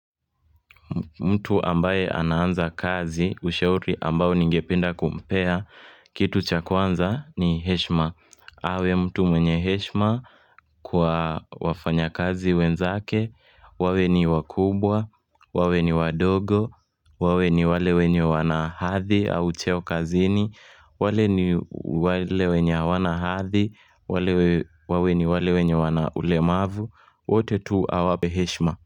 Mtu ambaye ananza kazi ushauri ambao ningependa kumpea Kitu chakwanza ni heshima awe mtu mwenye heshima kwa wafanya kazi wenzake wawe ni wakubwa, wawe ni wadogo, wawe ni wale wenye wanahadhi au cheo kazini wawe ni wale wenye awanahadhi, wawe ni wale wenye wanaulemavu wote tu awape heshima.